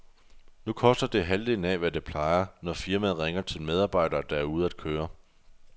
Nu koster det halvdelen af, hvad det plejer, når firmaet ringer til medarbejdere, der er ude at køre.